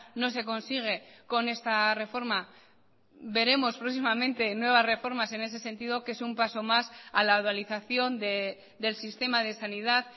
no se consigue con esta reforma veremos próximamente nuevas reformas en ese sentido que es un paso más a la dualización del sistema de sanidad